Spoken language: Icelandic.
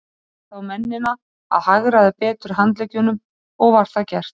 Bað ég þá mennina að hagræða betur handleggjunum, og var það gert.